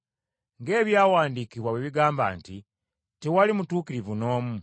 Ng’ebyawandiikibwa bwe bigamba nti: “Tewali mutuukirivu n’omu.